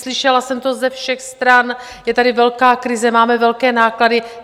Slyšela jsem to ze všech stran: Je tady velká krize, máme velké náklady.